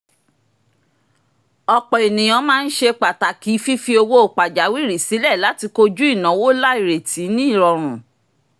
ọ̀pọ̀ ènìyàn máa ń ṣe pàtàkì fífi owó pajawìrí sílẹ̀ láti koju ináwó àìrètí ní rọrùn